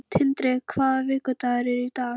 Tindri, hvaða vikudagur er í dag?